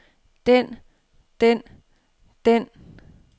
den den den